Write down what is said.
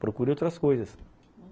Procure outras coisas.